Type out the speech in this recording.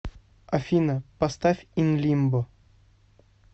афина поставь ин лимбо